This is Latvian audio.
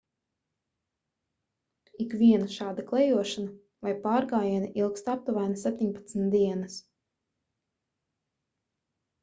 ikviena šāda klejošana vai pārgājieni ilgst aptuveni 17 dienas